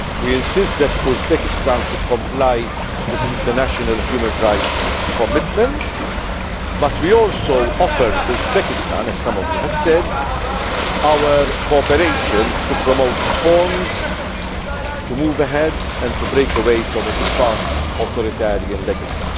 We insist that Uzbekistan should comply with international human rights commitments but we also offer Uzbekistan, as some of you have said, our cooperation to promote reforms, to move ahead and to break away from its past authoritarian legacy.